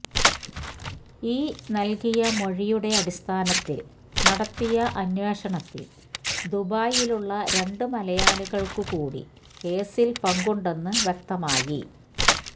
ഈ നൽകിയ മൊഴിയുടെ അടിസ്ഥാനത്തിൽ നടത്തിയ അന്വേഷണത്തിൽ ദുബായിലുള്ള രണ്ട് മലയാളികൾക്ക് കൂടി കേസിൽ പങ്കുണ്ടെന്നു വ്യക്തമായി